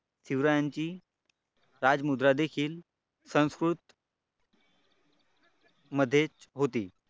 शिवरायांची राजमुद्रा देखील संस्कृत मध्येच होती.